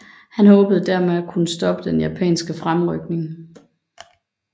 Han håbede dermed at kunne stoppe den japanske fremrykning